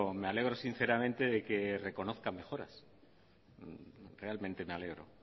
me alegro sinceramente de que reconozca mejoras realmente me alegro